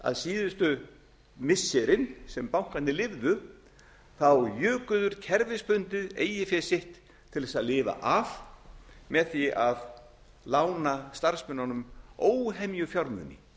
að síðustu missirin sem bankarnir lifðu juku þeir kerfisbundið eigið fé sitt til þess að lifa af með því að lána starfsmönnunum óhemju fjármuni